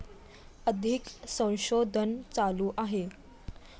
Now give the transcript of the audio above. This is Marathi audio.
अधिक संशोधन चालू आहे